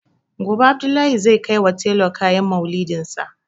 Gobe Abdullahi zai kaiwa tailor kayan Maulidinsa.